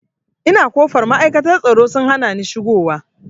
Ina kofar ma'aikata tsaro sun hanani shigo wa